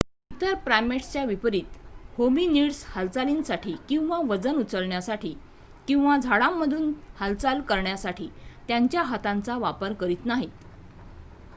इतर प्राइमेट्सच्या विपरीत होमिनिड्स हालचालींसाठी किंवा वजन उचलण्यासाठी किंवा झाडांमधून हालचाली करण्यासाठी त्यांच्या हाताचा वापर करत नाहीत